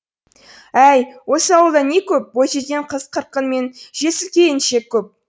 әй осы ауылда не көп бойжеткен қыз қырқын мен жесір келіншек көп